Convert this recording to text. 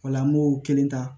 O la an b'o kelen ta